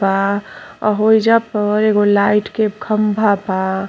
बा होइजा पे एगो लाइट के खम्भा बा।